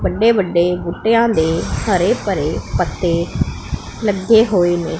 ਵੱਡੇ ਵੱਡੇ ਬੂਟੇਯਾਂ ਦੇ ਹਰੇ ਭਰੇ ਪੱਤੇ ਲੱਗੇ ਹੋਏ ਨੇ।